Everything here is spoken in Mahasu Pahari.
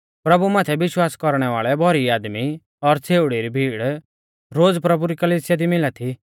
प्रभु माथै विश्वास कौरणै वाल़ै भौरी आदमी और छ़ेउड़ी री भीड़ रोज़ प्रभु री कलिसिया दी मिला थी